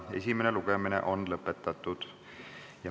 Esimene lugemine on lõpetatud.